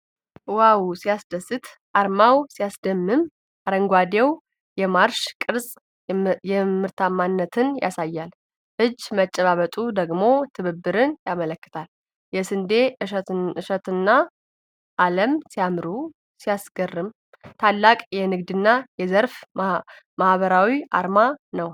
ዋው! ሲያስደስት! አርማው ሲያስደምም! አረንጓዴው የማርሽ ቅርጽ ምርታማነትን ያሳያል። እጅ መጨባበጡ ደግሞ ትብብርን ያመለክታል። የስንዴ እሸቱና ዓለም ሲያምሩ! ሲያስገርም! ታላቅ የንግድና የዘርፍ ማኅበራት አርማ ነው!